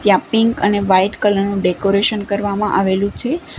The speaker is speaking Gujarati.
જ્યાં પિંક અને વાઈટ કલર નું ડેકોરેશન કરવામાં આવેલું છે.